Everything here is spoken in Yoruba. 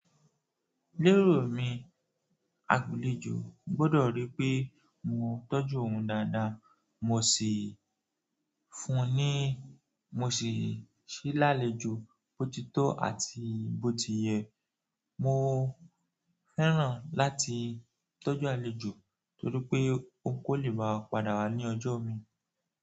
Lérò mi àlejò gbọ́dọ̀ rí pé mo tọ́jú òun dáadáa. Mo si fún ni, mo si se lalejo botitọ àti botiyẹ. Mo fẹ́ràn láti tọ́jú àlejò torí pé ó kò lè ba padà wá ní ọjọ́ mi.